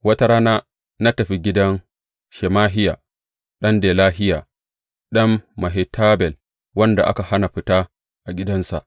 Wata rana na tafi gidan Shemahiya ɗan Delahiya, ɗan Mehetabel, wanda aka hana fita a gidansa.